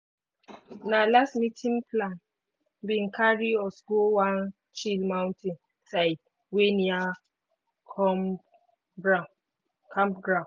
na last-meeting plan bin carry us go one chill mountain side wey near comeground campground.